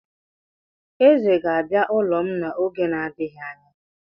Eze ga-abịa ụlọ m n'oge na-adịghị anya.